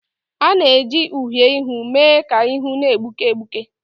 A na-eji uhiè ihu mee ka ihu na-egbuke egbuke